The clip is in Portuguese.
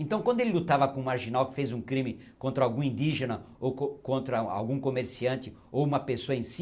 Então quando ele lutava com um marginal que fez um crime contra algum indígena, ou co contra a algum comerciante, ou uma pessoa em si,